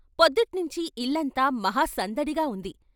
పొద్దుట్నించి ఇల్లంతా మహా సందడిగా ఉంది.